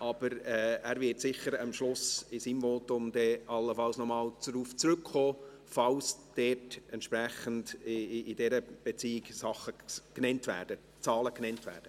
Aber er wird sicher am Schluss, in seinem Votum, darauf zurückkommen, falls in dieser Beziehung Zahlen genannt werden.